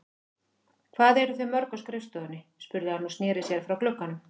Hvað eruð þið mörg á skrifstofunni? spurði hann og sneri sér frá glugganum.